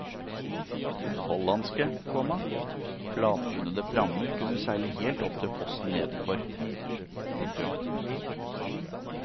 Hollandske, komma flatbunnede prammer kunne seile helt opp til fossen nedenfor. punktum